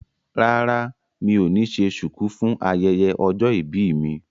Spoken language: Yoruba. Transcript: Rárá mi ò ní ṣe ṣùkú fún ayẹyẹ ọjọ́ ìbí mi